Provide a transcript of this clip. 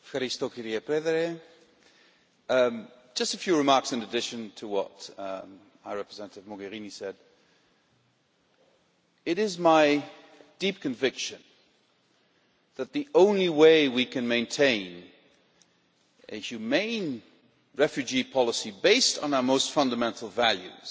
Mr President, I will make just a few remarks in addition to what High Representative Mogherini said. It is my deep conviction that the only way we can maintain a humane refugee policy, based on our most fundamental values,